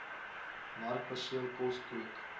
markperseel kos kook